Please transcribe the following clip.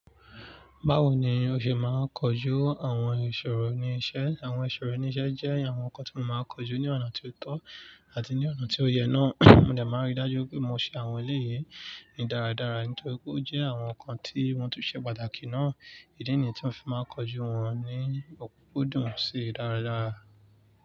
Báwo ni o ṣe máa ń kojú àwọn ìṣòro ní iṣẹ́? Àwọn ìṣòro ní iṣẹ́ jẹ́ àwọn nǹkan tí mo máa ń kojú ní ọ̀nà ti o tọ́ àti ní ọ̀nà tí ó yẹ náà. Mo de máa ń rí i dájú pé mo ṣe àwọn eléyi ní dáradára nítorí pé ó jẹ́ àwọn nǹkan tí wọ́n tún ṣe pàtàkì náà. Ìdí nìyí tí mo fi máa ń kojú wọn ní òkúnkún dùn sí dáradára.